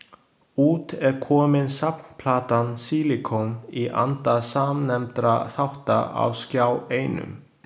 Út er komin safnplatan Sílíkon, í anda samnefndra þátta á Skjá Einum.